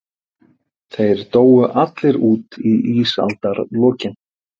Þeir dóu allir út í ísaldarlokin.